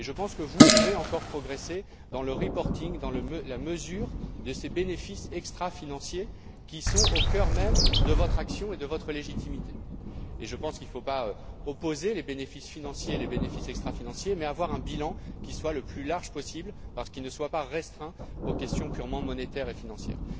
Et je pense que vous pouvez encore progresser dans le reporting dans la mesure de ces bénéfices extra financiers, qui sont au cœur même de votre action et de votre légitimité. Et je pense qu'il ne faut pas opposer les bénéfices financiers et les bénéfices extra financiers, mais avoir un bilan qui soit le plus large possible, qui ne soit pas restreint aux questions purement monétaires et financières.